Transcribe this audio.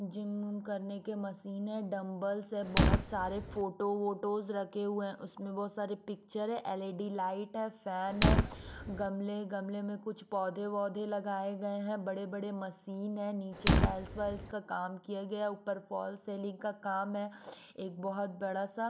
gym विम करने के मशीन है डंबल्स है बहुत सारे फोटो फोटोस रखे हुए हैं उसमें बहुत सारे पिक्चर है एलईडी लाइट है फैन है गमले गमले में कुछ पौधे-वौधे लगाए गए हैं बड़े-बड़े मशीन है नीचे टाइल्स वाल्स का काम किया गया ऊपर फॉल सेलिंग का काम है एक बहुत बड़ा सा--